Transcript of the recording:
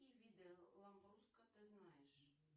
какие виды ламбруско ты знаешь